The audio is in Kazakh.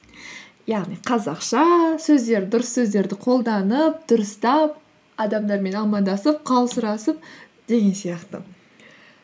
яғни қазақша дұрыс сөздерді қолданып дұрыстап адамдармен амандасып хал сұрасып деген сияқты